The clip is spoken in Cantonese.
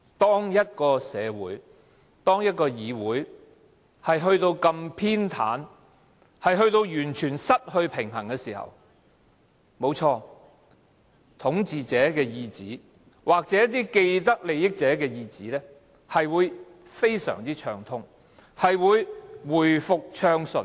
當一個社會、議會到了這麼偏袒，完全失去平衝的地步，沒錯，統治者的意旨或一些既得利益者的意旨，是會非常暢通地實行，一切都會回復暢順。